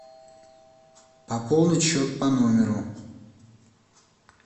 пополнить счет по номеру